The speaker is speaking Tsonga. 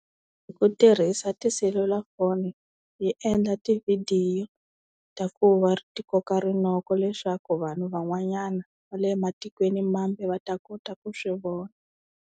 Hi ku tirhisa tiselulafoni hi endla tivhidiyo ta ku va ti koka rinoko leswaku vanhu van'wanyana va le matikweni mambe va ta kota ku swi vona.